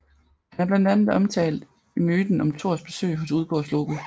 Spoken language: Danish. Han er blandt andet omtalt i myten om Thors besøg hos Udgårdsloke